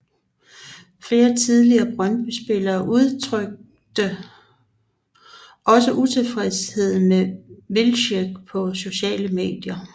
Flere tidligere Brøndbyspillere udtrykte også utilfredshed med Wilczek på sociale medier